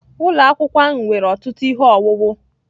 Ụlọ akwụkwọ ahụ nwere ọtụtụ ihe owuwu